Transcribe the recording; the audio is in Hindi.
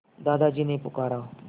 दादाजी ने पुकारा